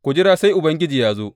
Ku jira sai Ubangiji ya zo.